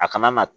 A kana na